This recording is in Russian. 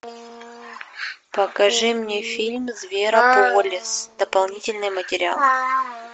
покажи мне фильм зверополис дополнительный материал